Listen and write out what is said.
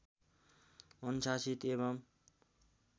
अनुशासित एवं